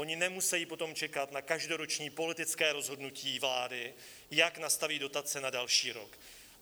Oni nemusejí potom čekat na každoroční politické rozhodnutí vlády, jak nastaví dotace na další rok.